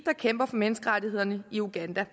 der kæmper for menneskerettighederne i uganda